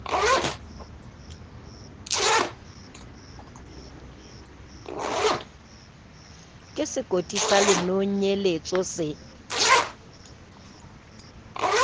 ke sekoti sa lenonyeletso se